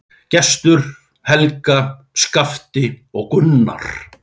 Gestur, Helga, Skafti og Gunnar.